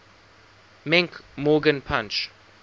menke morgan punch